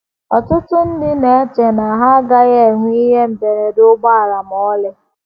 Ọtụtụ ndị na - eche na ha agaghị enwe ihe mberede ụgbọala ma ọlị.